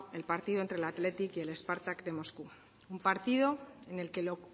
el partido entre el athletic y el spartak de moscú un partido en el que lo